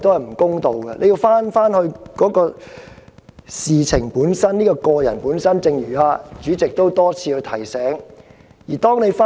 議員必須返回事情的本身，他的個人本身，正如主席多次提醒議員返回議題般。